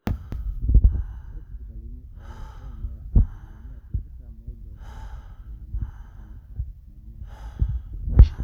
ore sipitalini ooloopeny neya asilimia tikitam oile neya sipitalini ekanisa asilimia tomon oisiet